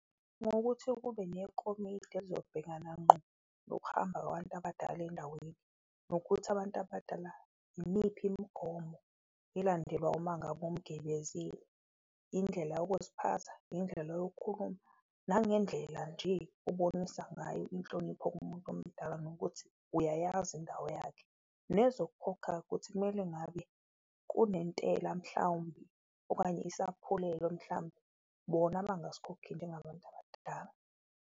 Ngokuthi kube nekomidi elizobhekana nqo nokuhamba kwabantu abadala endaweni, nokuthi abantu abadala imiphi imigomo elandelwa uma ngabe umgibezile. Indlela yokuziphatha, indlela yokukhuluma, nangendlela nje obonisa ngayo inhlonipho kumuntu omdala nokuthi uyayazi indawo yakhe. Nezokukhokha-ke ukuthi kumele ngabe kunentela mhlawumbe, okanye isaphulelo mhlambe bona abangasikhokhi njengabantu abadala.